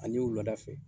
Ani wulada fɛ